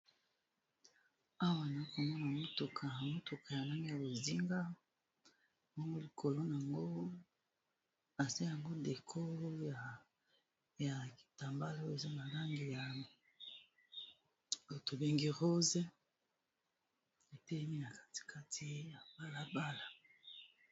awa na komona motuka ya motuka ya ndeni ya bozinga mongo likolo nango aza yango dekolo ya kitambala oy eza malangi ya o tobengi rose etelemi na katikati ya balabala